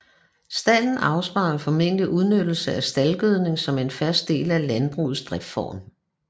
Stalden afspejler formentlig udnyttelse af staldgødning som en fast del af landbrugets driftsform